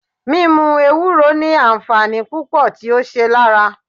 Mímú Ewúro ni àǹfààní púpò tí ó ṣe lára.